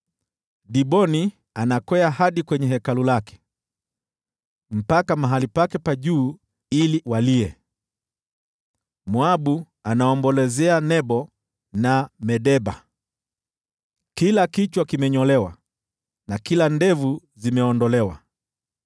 Diboni anakwea hadi kwenye hekalu lake, mpaka mahali pake pa juu ili walie, Moabu anaombolezea Nebo na Medeba. Kila kichwa kimenyolewa na kila ndevu limeondolewa.